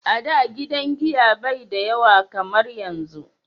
a da gidan giya bai da yawa kamar yanzu